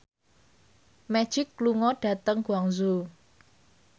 Magic lunga dhateng Guangzhou